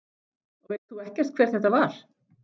Og veist þú ekkert hver þetta var?